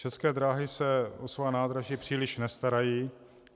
České dráhy se o svoje nádraží příliš nestarají.